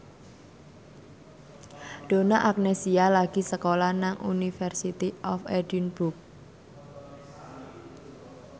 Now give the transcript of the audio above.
Donna Agnesia lagi sekolah nang University of Edinburgh